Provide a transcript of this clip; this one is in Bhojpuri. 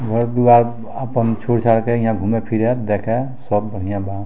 घर द्वार आपन छोड़-छाड़ के यहाँ घूमे-फिरे देखे सब बढ़िया बा।